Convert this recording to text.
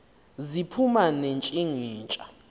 ziphuma ne ntshinga